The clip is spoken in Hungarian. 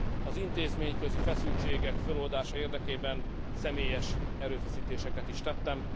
Az intézményközi feszültségek föloldása érdekében személyes erőfeszítéseket is tettem.